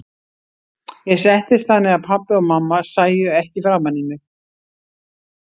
Ég settist þannig að pabbi og mamma sæju ekki framan í mig.